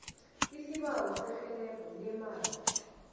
isibawo serhelebho leemali